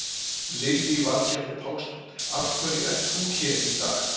Lillý Valgerður Pétursdóttir: Af hverju ert þú hér í dag?